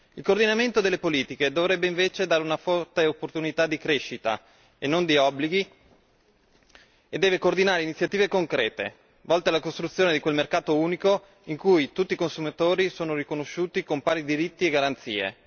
Il coordinamento delle politiche dovrebbe invece dare una forte opportunità di crescita e non di obblighi e deve coordinare iniziative concrete volte alla costruzione di quel mercato unico, in cui tutti i consumatori sono riconosciuti con pari diritti e garanzie.